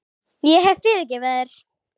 Ég hef fyrirgefið þér.